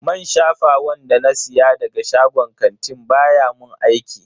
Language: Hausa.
Man shafawan da na siya daga shagon kantin baya mun aiki.